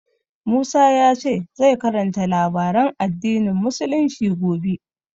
Musa ya ce zai karanta labaran addinin Musulunci gobe.